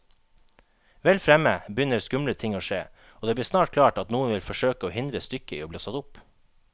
Vel fremme begynner skumle ting å skje, og det blir snart klart at noen vil forsøke å hindre stykket i bli satt opp.